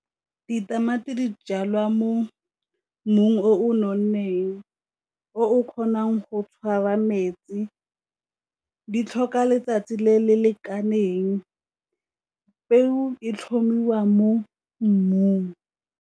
Ditamati di jalwa mo mmung o nonneng o o kgonang go tshwara metsi, di tlhoka letsatsi le le lekaneng, peo e tlhomiwa mo mmung.